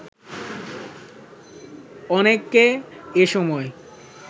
অনেককে এসময়